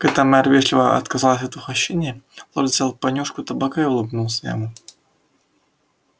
когда мэр вежливо отказался от угощения лорд взял понюшку табака и улыбнулся ему